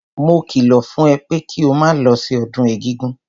Mo kìlọ̀ fún ẹ pé kí o máa lọ sí ọdún egúngún!